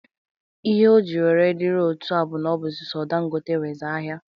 Ihe o ji were diri otu a bụ n'ọ bụzị so Dangote nwezi ahịa.